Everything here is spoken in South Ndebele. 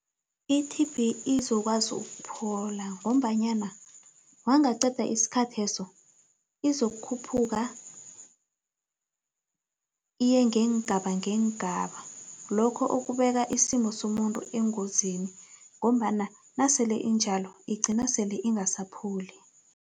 I-T_B izokwazi ukuphola ngombanyana wangaqeda isikhatheso izokukhuphuka iye ngeengaba ngeengaba lokho, okubeka isimo somuntu engozini ngombana nasele iintjalo igcina sele ingasapholi.